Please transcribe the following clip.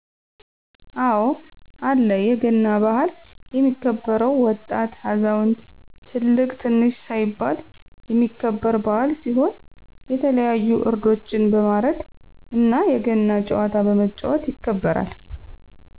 አወ አለ የገና በሀል የሚከበውም ወጣት አዛውንት ትልቅ ትንሽ ሳይባል የሚከበረ በዓል ሲሆን የተለያዩ ዕረዶችን በማርድ እነ የገና ጨዋታ በመጫወት ይከበራል።